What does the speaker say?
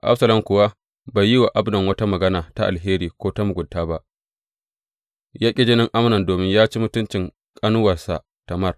Absalom kuwa bai yi wa Amnon wata magana ta alheri ko ta mugunta ba; ya ƙi jinin Amnon domin ya ci mutuncin ƙanuwarsa Tamar.